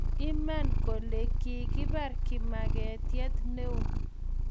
Iman kole kibaar kimagetiet mageet ne oo